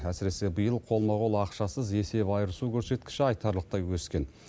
әсіресе биыл қолма қол ақшасыз есеп айырысу көрсеткіші айтарлықтай өскен